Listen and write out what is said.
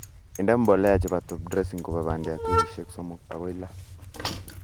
Inde mbolea chebo top dressing kobo bandiat weekishek 3 agoi lo